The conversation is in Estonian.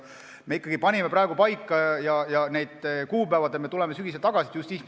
Me panime praegu paika need kuupäevad ja me tuleme sügisel selle juurde tagasi.